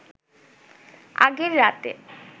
আগের রাতে